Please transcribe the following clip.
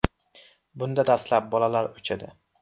Bunda dastlab bolalar o‘chadi.